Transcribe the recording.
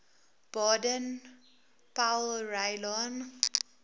baden powellrylaan